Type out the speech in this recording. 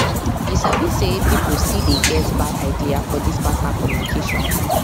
you sabi say people still dey get bad idea for this partner communication